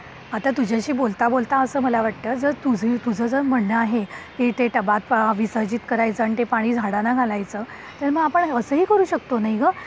आता तुझ्या शी बोलता बोलता असं मला वाटतं जर तुझी तुझा म्हणणे आहे इथं टबात विसर्जित करायचं आणि ते पाणी झाडांना घालायचं तर मग आपण अस ही करू शकतो नाही का